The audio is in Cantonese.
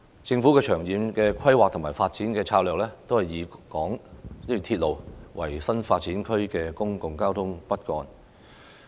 政府的長遠規劃和發展策略，均以鐵路為新發展區的公共交通骨幹。